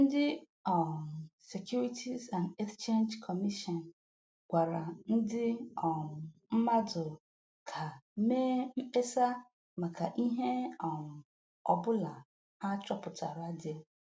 Ndị um Securities and Exchange Commission gwara ndị um mmadụ ka mee mkpesa maka ihe um ọbụla ha chọpụtara dị